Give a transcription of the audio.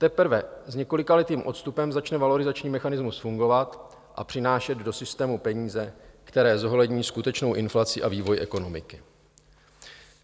Teprve s několikaletým odstupem začne valorizační mechanismus fungovat a přinášet do systému peníze, které zohlední skutečnou inflaci a vývoj ekonomiky.